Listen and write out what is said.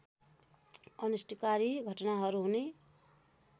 अनिष्टकारी घटनाहरू हुने